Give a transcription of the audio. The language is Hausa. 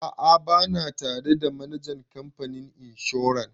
A'a ba na tare da manajan kamfanin inshoran.